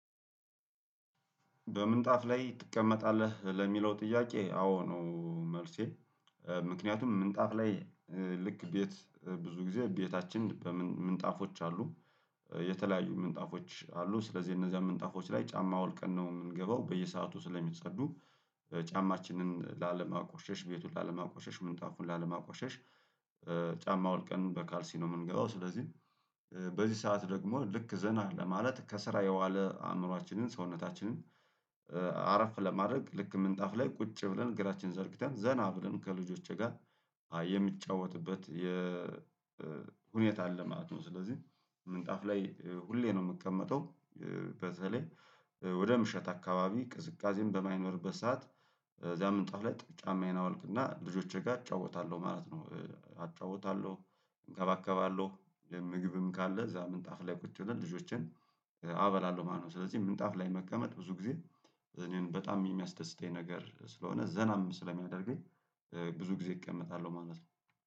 በምንጣፍ ላይ ትቀመጣለህ ለሚለው ጥያቄ አዎ ነው መልሴ። ምክንያቱም ምንጣፍ ላይልክ ቤት ብዙ ጊዜ ቤታችን ምንጣፎች አሉ። የተለያዩ ምንጣፎች አሉ ስለዚህ እነዚያ ምንጣፎች ላይ ጫማ አውልቀን ነው የምንገባው በየሰአቱ ስለሚጸዱ። ጫማችንን ላለማቆሸሽ ቤቱን ላለማቆሸሽ ምንጣፉን ላለማቆሸሽ። ጫማ አዉልቀን በካልሲ ነው የምንገባው ስለዚህ። በዚህ ሰዓት ደግሞ ልክ ዘና ለማለት ከስራ የዋለ አእምሮአችንን ሰውነታችንን አረፍ ለማድረግ ልክ ምንጣፍ ላይ ቁጭ ብለን እግራችንን ዘርግተን ዘና ብለን ከልጆቼ ጋር የምንጫወትበት የሁኔታ አለ ማለት ነው። ስለዚህ ምንጣፍ ላይ ሁሌ ነው የምቀመጠው። በተለይ ወደ ምሽት አካባቢ ቅዝቃዜም በማይኖርበት ሰዓት። እዛ ምንጣፍ ላይ ጫማዬን አውልቅና ልጆቼ ጋር አጫውታለሁ ማለት ነው። አጫውታለሁ እንከባከባለሁ ምግብም ካለ እዛ ምንጣፍ ላይ ቁጭ ብለን ልጆቼን አበላለሁ ማለት ነው። ስለዚህ ምንጣፍ ላይ መቀመጥ ብዙ ጊዜ እኔን በጣም የሚያስደስተኝ ነገር ስለሆነ ዘናም ስለሚያደርገኝ ብዙ ጊዜ እቀመጣለሁ ማለት ነው